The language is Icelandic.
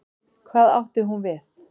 Hvað átti hún við?